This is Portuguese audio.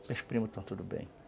Meus primos estão todos bem.